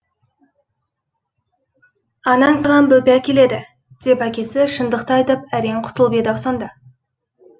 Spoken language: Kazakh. анаң саған бөпе әкеледі деп әкесі шындықты айтып әрең құтылып еді ау сонда